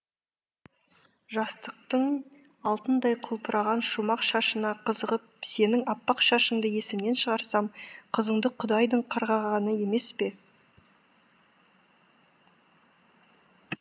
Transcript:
жастықтың алтындай құлпырған шумақ шашына қызығып сенің аппақ шашыңды есімнен шығарсам қызынды құдайдың қарғағаны емес пе